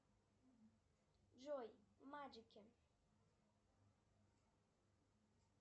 джой маджики